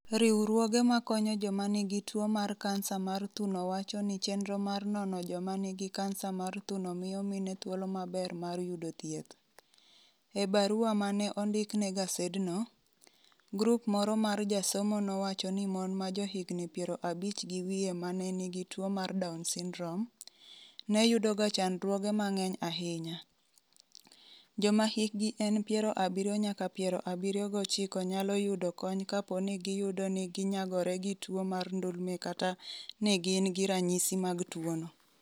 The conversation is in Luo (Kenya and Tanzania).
Riwruoge makonyo joma nigi tuwo mar kansa mar thuno wacho ni chenro mar nono joma nigi kansa mar thuno miyo mine 'thuolo maber' mar yudo thieth. E barua ma ne ondik ne gasedno, grup moro mar josomo nowacho ni mon ma johigini 50 gi wiye ma ne nigi tuwo mar Down syndrome, ne yudoga chandruoge mang'eny ahinya. Joma hikgi en 70 nyaka 79 nyalo yudo kony kapo ni giyudo ni ginyagore gi tuwo mar ndulme kata ni gin gi ranyisi mag tuwono.